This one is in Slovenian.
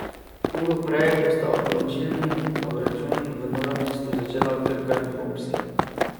Uro prej bosta odločilni obračun v Novem mestu začela Krka in Hopsi.